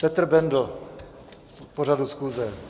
Petr Bendl k pořadu schůze.